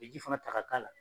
U be ji fana ta ka k'a la.